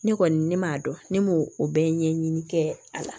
Ne kɔni ne m'a dɔn ne m'o o bɛɛ ɲɛɲini kɛ a la